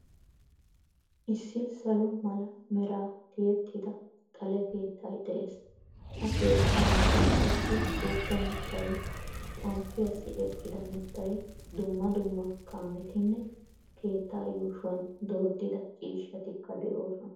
Issi salo mala meraa tiyettida xale keettay de'ees. Ha keettaa matan qassi wogga mittay, xomppiyaassi eqqida mittay, dumma dumma kaametinne keettaa yuushuwan dooddida ciishshatikka de'oosona.